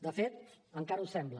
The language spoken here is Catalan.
de fet encara ho sembla